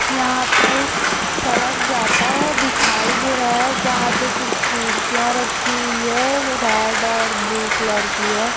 यँहा पर स सड़क जाता हुआ दिखाई दे रहा है जँहा पे कुछ कुर्सियां रखी हुई हैं रेड और ब्लू कलर की है।